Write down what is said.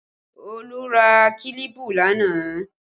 Olu ra kílípù lánàá